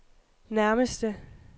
nærmeste